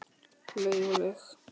Laug og laug.